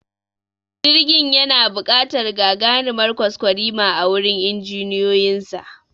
Jirgin yana buƙatar gagarimar kwaskwarima a gurin injiniyoyinsa